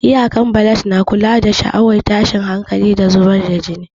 Iyakar balad na kula da sha'awar tashin hankali, da zubar da jini.